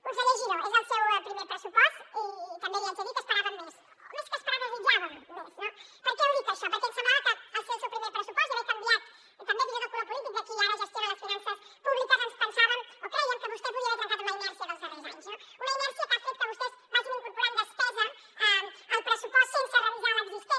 conseller giró és el seu primer pressupost i també li haig de dir que n’esperàvem més o més que esperar en desitjàvem més no per què ho dic això perquè ens semblava que al ser el seu primer pressupost i haver canviat també fins i tot el color polític de qui ara gestiona les finances públiques ens pensàvem o crèiem que vostè podria haver trencat amb la inèrcia dels darrers anys no una inèrcia que ha fet que vostès vagin incorporant despesa al pressupost sense revisar l’existent